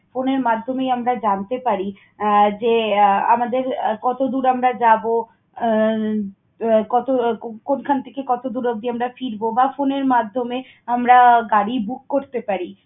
phone এর মাধ্যমেই আমরা জানতে পারি আহ যে, আমাদের কতদূর আমরা যাব, আহ কত~ কোন খান থেকে কত দূর অবধি আমরা ফিরব বা phone এর মাধ্যমে আমরা গাড়ি book করতে পারি।